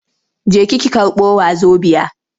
Jeki ki karɓo wazobiya!